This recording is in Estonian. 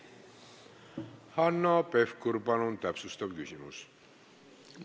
Hanno Pevkur, palun täpsustav küsimus!